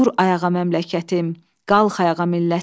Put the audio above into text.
Dur ayağa məmləkətim, qalx ayağa millətim.